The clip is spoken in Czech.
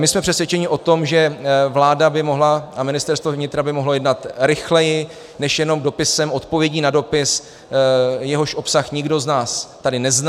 My jsme přesvědčeni o tom, že vláda by mohla a Ministerstvo vnitra by mohlo jednat rychleji než jenom dopisem, odpovědí na dopis, jehož obsah nikdo z nás tady nezná.